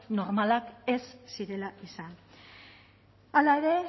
normalak ez zirela izan hala ere